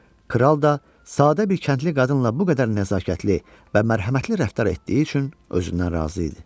Kral da sadə bir kəndli qadınla bu qədər nəzakətli və mərhəmətli rəftar etdiyi üçün özündən razı idi.